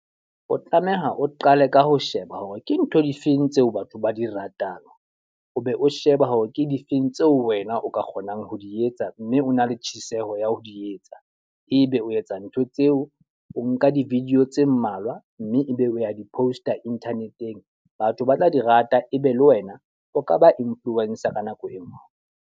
O tlameha o qale ka ho sheba hore ke ntho difeng tseo batho ba di ratang, o be o sheba hore ke difeng tseo wena o ka kgonang ho di etsa. Mme o na le tjheseho ya ho di etsa. E be o etsa ntho tseo, o nka di-video tse mmalwa mme e be o ya di post-a internet-eng. Batho ba tla di rata, e be le wena o ka ba influencer ka nako e nngwe.